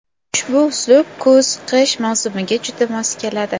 Ushbu uslub kuz-qish mavsumiga juda mos keladi.